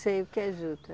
Sei o que é juta.